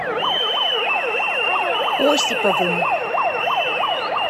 осиповым